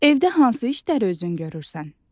Evdə hansı işləri özün görürsən?